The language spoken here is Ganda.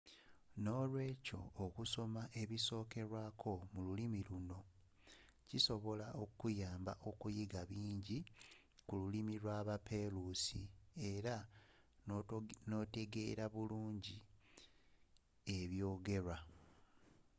n'olwekyo okusoma ebisokerwako mu olulimi luno kisobola okuyamba okuyiga bingi ku lulimi lwa baperusi era n'otegeera bulungi eby'ogerwa